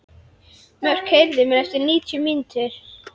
Mörk, heyrðu í mér eftir níutíu mínútur.